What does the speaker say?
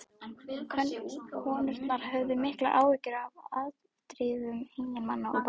Konurnar höfðu miklar áhyggjur af afdrifum eiginmanna og barna.